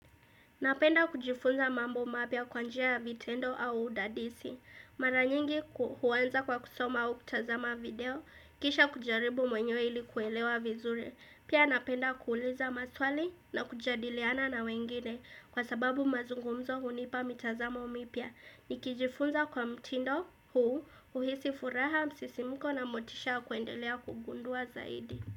Napenda kujifunza mambo mapya kwanjia vitendo au udadisi. Maranyingi huwanza kwa kusoma au kutazama video, kisha kujaribu mwenye ili kuelewa vizure. Pia napenda kuuliza maswali na kujadiliana na wengine kwa sababu mazungumzo hunipa mitazamo mipya. Nikijifunza kwa mtindo huu uhisi furaha msisimiko na motisha kuendelea kugundua zaidi.